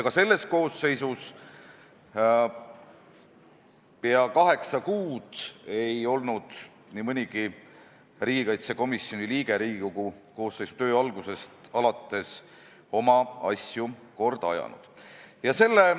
Ka selles koosseisus ei ole nii mõnigi riigikaitsekomisjoni liige Riigikogu koosseisu töö algusest alates, st peaaegu kaheksa kuu jooksul oma asju korda ajanud.